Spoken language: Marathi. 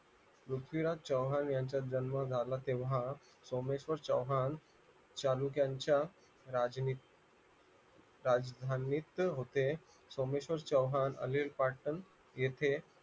पृथ्वीराज चव्हाण यांचा जन्म झाला तेव्हा सोमेश्वर चव्हाण तालुक्याच्या चालुक्यांच्या राजधानीत होते सोमेश्वर चव्हाण अनिल पाटण येथे